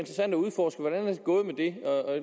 gået med det og